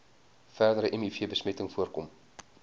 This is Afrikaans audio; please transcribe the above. verdere mivbesmetting voorkom